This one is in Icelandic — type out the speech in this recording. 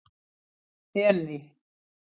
Jenný